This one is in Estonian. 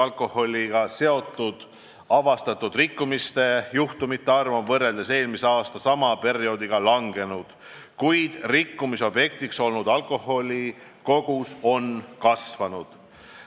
Alkoholiga seotud avastatud rikkumisjuhtumite arv on võrreldes eelmise aasta sama perioodiga langenud, kuid rikkumiste objektiks olnud alkoholi kogus on kasvanud.